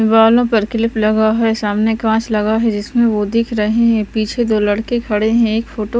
बालों पर क्लिप लगा है सामने कांच लगा है जिसमें वो दिख रहे हैं पीछे दो लड़के खड़े हैं एक फोटो --